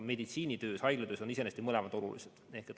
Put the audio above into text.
Haiglatöös on iseenesest mõlemad olulised.